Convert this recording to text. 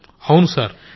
గౌరవ్ అవును సర్